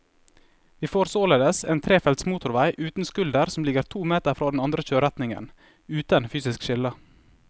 Vi får således en trefelts motorvei uten skulder som ligger to meter fra den andre kjøreretningen, uten fysisk skille.